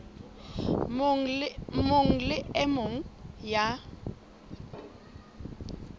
mong le e mong ya